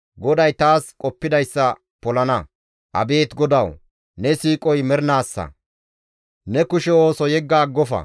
GODAY taas qoppidayssa polana; abeet GODAWU! Ne siiqoy mernaassa; ne kushe ooso yegga aggofa.